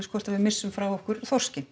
hvort við missum frá okkur þorskinn